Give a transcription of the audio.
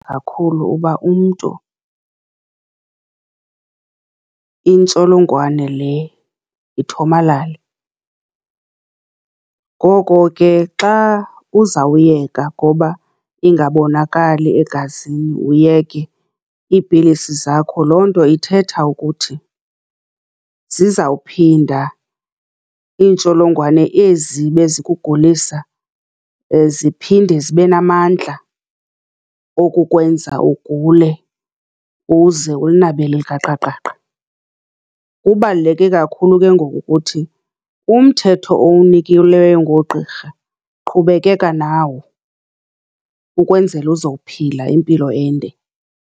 Kakhulu uba umntu intsholongwane le ithomalale. Ngoko ke xa uzawuyeka ngoba ingabonakali egazini, uyeke, iipilisi zakho loo nto ithetha ukuthi zizawuphinda iintsholongwane ezi bezikugulisa ziphinde zibe namandla okukwenza ugule uze ulinabele elikaqaqaqa. Kubaluleke kakhulu ke ngoku ukuthi umthetho owunikelweyo ngoogqirha, qhubekeka nawo ukwenzela uzokuphila impilo ende.